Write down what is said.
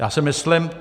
Já si myslím...